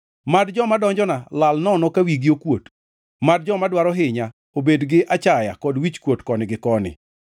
Mad joma donjona lal nono ka wigi okuot; mad joma dwaro hinya, obed gi achaya kod wichkuot koni gi koni.